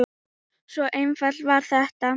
Svona einfalt var þetta.